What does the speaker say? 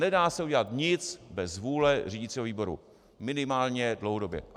Nedá se udělat nic bez vůle řídicího výboru, minimálně dlouhodobě.